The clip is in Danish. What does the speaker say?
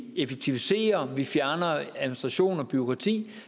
effektiviserer vi fjerner administration og bureaukrati